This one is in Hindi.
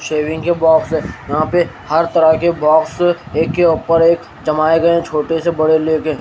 शेविंग के बॉक्स है यहां पे हर तरह के बॉक्स एक के ऊपर एक जमाए गए हैं छोटे से बड़े लेके।